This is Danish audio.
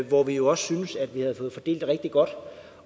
hvor vi også syntes vi havde fået fordelt det rigtig godt